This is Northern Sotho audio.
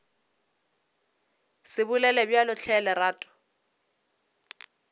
se bolele bjalo hle lerato